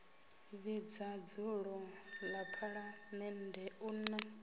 vhidza dzulo ḽa phaḽamennde u